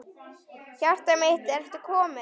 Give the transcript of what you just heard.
Hjartað mitt, ertu kominn?